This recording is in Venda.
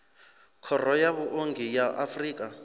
khoro ya vhuongi ya afrika